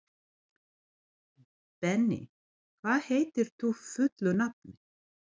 Benný, hvað heitir þú fullu nafni?